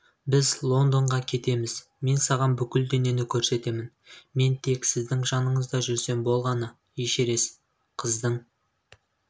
біз лондонға кетеміз мен саған бүкіл дүниені көрсетемін мен тек сіздің жаныңызда жүрсем болғаны эшерест қыздың